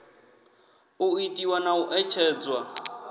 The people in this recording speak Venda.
u itiwa na u ṋetshedzwa